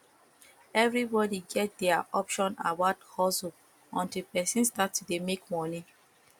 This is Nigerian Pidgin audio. everybody get their opinion about hustle untill persin start to de make money